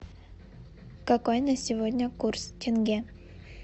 какой на сегодня курс тенге